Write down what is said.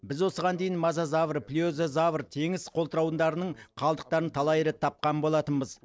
біз осыған дейін мозазавр плезиозавр теңіз қолтырауындарының қалдықтарын талай рет тапқан болатынбыз